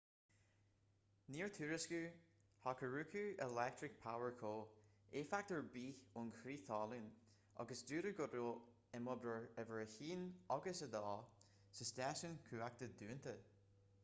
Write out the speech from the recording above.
níor tuairiscíodh hokuriku electric power co éifeacht ar bith ón chrith talún agus dúradh go raibh imoibreoir uimhir 1 agus 2 sa stáisiún cumhachta dúnta